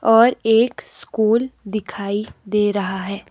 और एक स्कूल दिखाई दे रहा है।